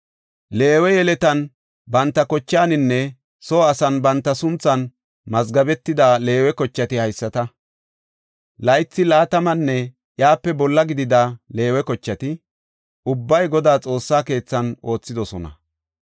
Leewe yeletan banta kochaaninne soo asan banta sunthan mazgabetida Leewe kochati haysata. Laythi laatamanne iyape bolla gidida Leewe kochati ubbay Godaa Xoossaa keethan oothidosona.